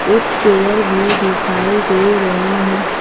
ये चेयर भी दिखाई दे रहे है।